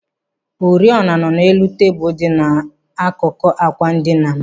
Oriọna nọ n'elu tebụl dị n'akụkụ ákwà ndina m.